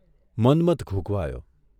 Manmath ધૂંઘવાયો.